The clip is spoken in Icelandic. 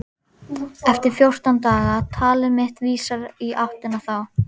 Eftir fjórtán daga- talið mitt vísar í áttina þá.